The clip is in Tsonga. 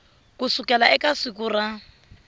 ku sukela eka siku ra